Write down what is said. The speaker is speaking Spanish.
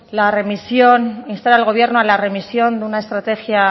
la remisión instar al gobierno a la remisión de una estrategia